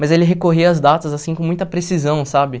Mas ele recorria às datas, assim, com muita precisão, sabe?